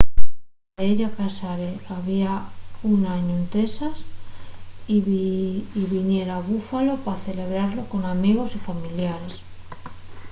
la pareya casárase había un añu en texas y viniera a buffalo pa celebralo con amigos y familiares